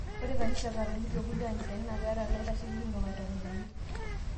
Ore kanisa e katoliki o kulie kanisani na keeta laitashekinot aitobiraki